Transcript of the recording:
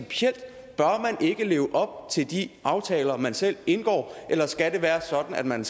ikke leve op til de aftaler man selv indgår eller skal det være sådan at man